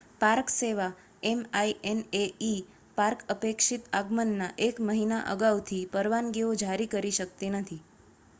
park સેવા minae park અપેક્ષિત આગમનના એક મહિના અગાઉથી પરવાનગીઓ જારી કરતી નથી